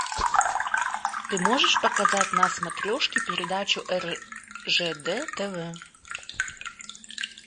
ты можешь показать на смотрешке передачу ржд тв